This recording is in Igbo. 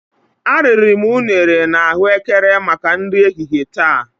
ariri m unere na Ahụekere maka nri ehihie taa.